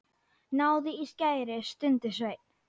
Náðu í skæri, stundi Sveinn.